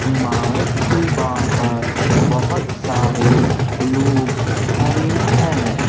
इमारत के बाहर बहुत सारे लोग खड़े हैं।